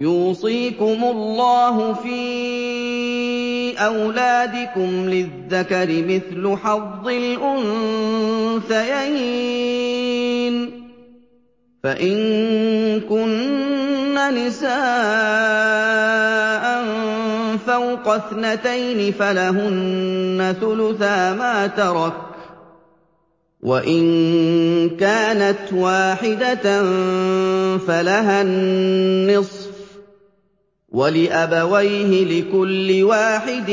يُوصِيكُمُ اللَّهُ فِي أَوْلَادِكُمْ ۖ لِلذَّكَرِ مِثْلُ حَظِّ الْأُنثَيَيْنِ ۚ فَإِن كُنَّ نِسَاءً فَوْقَ اثْنَتَيْنِ فَلَهُنَّ ثُلُثَا مَا تَرَكَ ۖ وَإِن كَانَتْ وَاحِدَةً فَلَهَا النِّصْفُ ۚ وَلِأَبَوَيْهِ لِكُلِّ وَاحِدٍ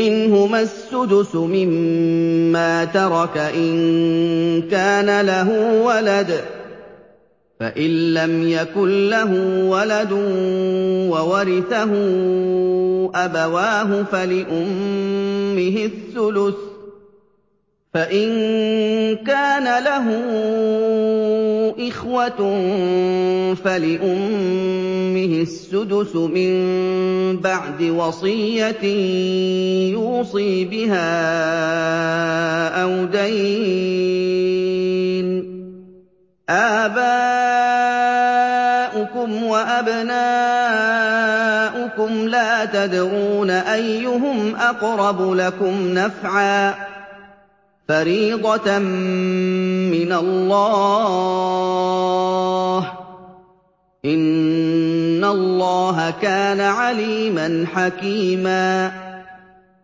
مِّنْهُمَا السُّدُسُ مِمَّا تَرَكَ إِن كَانَ لَهُ وَلَدٌ ۚ فَإِن لَّمْ يَكُن لَّهُ وَلَدٌ وَوَرِثَهُ أَبَوَاهُ فَلِأُمِّهِ الثُّلُثُ ۚ فَإِن كَانَ لَهُ إِخْوَةٌ فَلِأُمِّهِ السُّدُسُ ۚ مِن بَعْدِ وَصِيَّةٍ يُوصِي بِهَا أَوْ دَيْنٍ ۗ آبَاؤُكُمْ وَأَبْنَاؤُكُمْ لَا تَدْرُونَ أَيُّهُمْ أَقْرَبُ لَكُمْ نَفْعًا ۚ فَرِيضَةً مِّنَ اللَّهِ ۗ إِنَّ اللَّهَ كَانَ عَلِيمًا حَكِيمًا